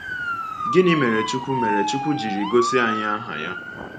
Gịnị mere Chukwu mere Chukwu jiri gosi anyị aha Ya?